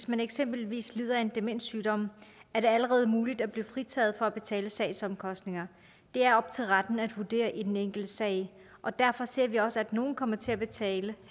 man eksempelvis lider af en demenssygdom er det allerede muligt at blive fritaget for at betale sagsomkostninger det er op til retten at vurdere i den enkelte sag og derfor ser vi også at nogle kommer til at betale